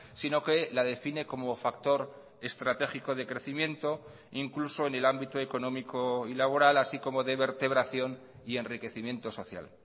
sino que ladefine como factor estratégico de crecimiento incluso en el ámbito económico y laboral así como de vertebración y enriquecimiento social